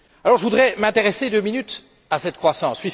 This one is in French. Je voudrais m'intéresser deux minutes à cette croissance.